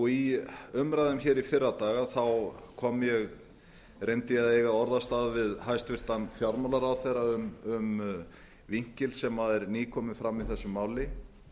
í umræðum í fyrradag reyndi ég að eiga orðastað við hæstvirtan fjármálaráðherra um vinkil sem er nýkominn fram í þessu máli